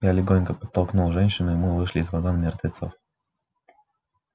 я легонько подтолкнул женщину и мы вышли из вагона мертвецов